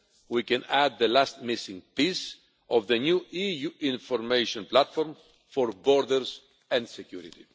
we can add the last missing piece of the new EU information platform for borders and security.